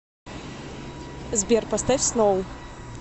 сбер поставь сноу